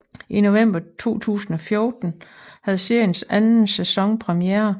I november 2014 havde seriens anden sæson premiere